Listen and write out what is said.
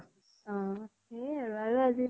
অ সেয়ে আৰু আৰু আজি